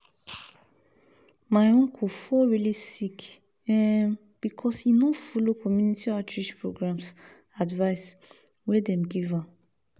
my uncle fall really sick um because he no follow community outreach programs advice wey dem give am.